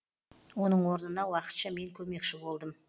оның орнына уақытша мен көмекші болдым